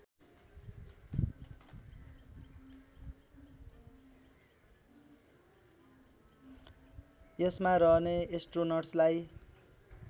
यसमा रहने एस्ट्रोनट्सलाई